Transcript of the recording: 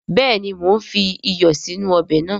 Béèni mo n fi iyọ̀ sínú ọbè nàá